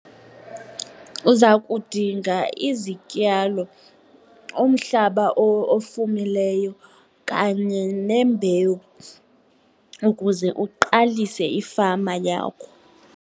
Uza kudinga izityalo, umhlaba ofumileyo kanye nembewu ukuze uqalise ifama yakho.